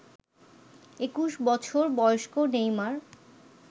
২১ বছর বয়স্ক নেইমার